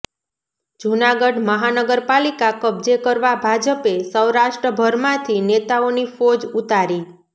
જૂનાગઢ મહાનગરપાલિકા કબ્જે કરવા ભાજપે સૌરાષ્ટ્રભરમાંથી નેતાઓની ફોજ ઉતારી